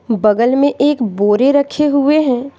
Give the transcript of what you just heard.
बगल में एक बोरे रखे हुए हैं।